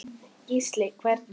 Gísli: Hvernig?